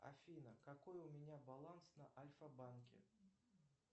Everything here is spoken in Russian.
афина какой у меня баланс на альфа банке